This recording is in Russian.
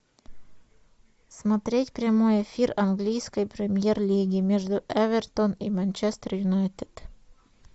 смотреть прямой эфир английской премьер лиги между эвертон и манчестер юнайтед